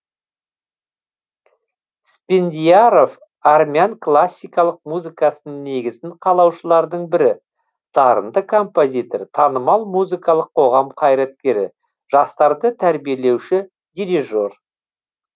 спендиаров армян классикалық музыкасының негізін қалаушылардың бірі дарынды композитор танымал музыкалық қоғам қайраткері жастарды тәрбиелеуші дирижер